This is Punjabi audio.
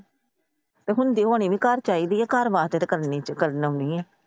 ਹੁੰਦੀ ਹੋਣੀ ਘਰ ਚਾਹੀਦੀ ਏ ਘਰ ਵਾਸਤੇ ਤਾਂ ਕਰਨੀ ਏ।